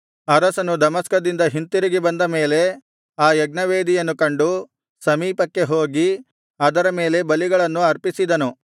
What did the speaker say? ಅರಸನು ದಮಸ್ಕದಿಂದ ಹಿಂತಿರುಗಿ ಬಂದ ಮೇಲೆ ಆ ಯಜ್ಞವೇದಿಯನ್ನು ಕಂಡು ಸಮೀಪಕ್ಕೆ ಹೋಗಿ ಅದರ ಮೇಲೆ ಬಲಿಗಳನ್ನು ಅರ್ಪಿಸಿದನು